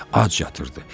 Ac yatırdı.